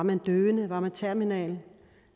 man døende er man terminal